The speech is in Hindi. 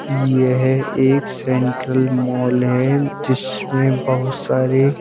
यह एक सेंट्रल मॉल है जिसमें बहुत सारे--